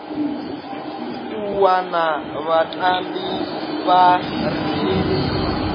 u wana vhatambi vha re